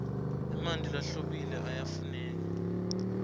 emanti lahlobile ayafuneka